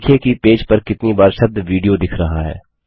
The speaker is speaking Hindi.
देखिये कि पेज पर कितनी बार शब्द वीडियो दिख रहा है